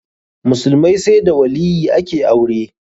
Musulmai sai da waliyyi ake aure.